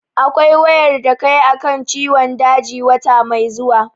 Akwai wayar da kai a kan ciwon daji wata mai zuwa.